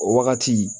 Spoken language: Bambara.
O wagati